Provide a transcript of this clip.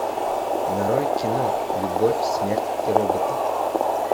нарой кино любовь смерть и роботы